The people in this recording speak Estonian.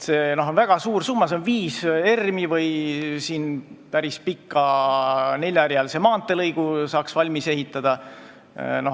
See on väga suur summa, see on viis ERM-i või selle eest saaks päris pika neljarealise maanteelõigu valmis ehitada.